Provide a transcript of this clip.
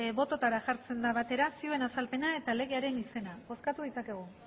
bototara jartzen da batera zioen azalpena eta legearen izena bozkatu ditzakegu